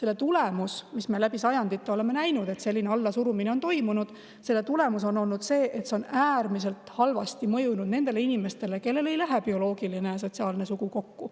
Me oleme näinud läbi sajandite, kui selline allasurumine on toimunud, et selle tulemus on see, et see on äärmiselt halvasti mõjunud nendele inimestele, kellel ei lähe bioloogiline ja sotsiaalne sugu kokku.